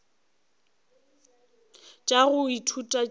tša go ithuta tšeo di